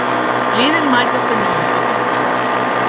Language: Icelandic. Liðin mætast að nýju á fimmtudag